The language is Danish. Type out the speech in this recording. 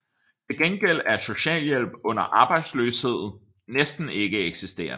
Til gengæld er socialhjælp under arbejdsløshed næsten ikke eksisterende